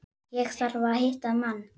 Ég þarf að hitta mann.